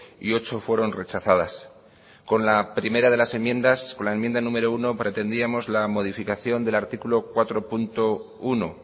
y ocho fueron rechazadas con la primera de las enmiendas con la enmienda número uno pretendíamos la modificación del artículo cuatro punto uno